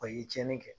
O ye cɛnni kɛ